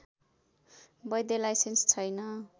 वैध लाइसेन्स छैन